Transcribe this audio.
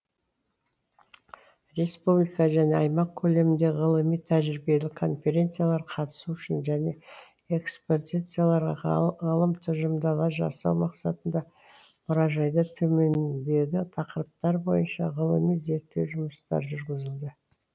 республика және аймақ көлемінде ғылыми тәжірибелік конференциялар қатысу үшін және экспозицияларға ғалым тұжырымдамалар жасау мақсатында мұражайда төмендегі тақырыптар бойынша ғылыми зерттеу жұмыстары жүргізілді